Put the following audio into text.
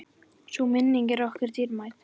Sú minning er okkur dýrmæt.